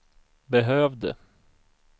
behövde